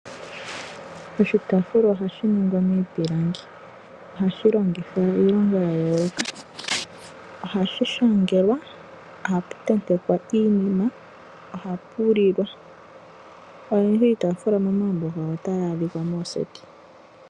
Oshitaafula ohashi hongwa miipilangi. Ohashi longithwa iilonga ya yooloka. Ohapu shangelwa, ohapu tentekwa iinima nohapu lilwa. Oyendji iitaafula momagumbo gawo otayi adhika mooseti.